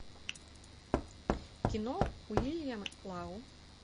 кино уильям лау